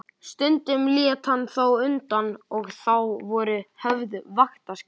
Stundum lét hann þó undan og þá voru höfð vaktaskipti.